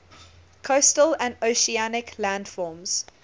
coastal and oceanic landforms